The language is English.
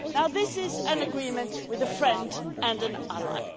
This is an agreement with a friend and an ally.